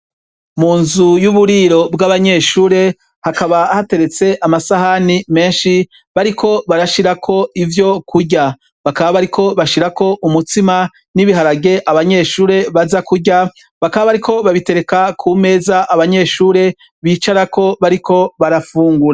Munzu y' uburiro bw' abanyeshure hakaba hateretse amasahani menshi bariko barashirako ivyokurya bakaba bariko bashirako umutsima n' ibiharage abanyeshure baza kurya bakaba bariko babitereka kumeza abanyeshure bicarako bariko barafungura.